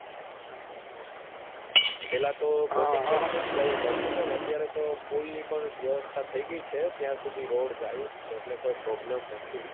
પહેલા તો ફરી ફરી ને જ જાઉં પડતું પણ અત્યારે તો પુલ ની પણ વ્યવસ્થા થઈ ગઈ છે ત્યાં સુધી road જાય જ છે એટલે કોઈ problem નથી.